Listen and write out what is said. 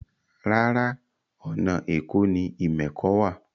Rárá, ọ̀nà èkó ni ìmẹ̀kọ wà